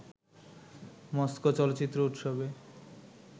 Moscow চলচ্চিত্র উৎসবে